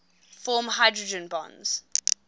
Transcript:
form hydrogen bonds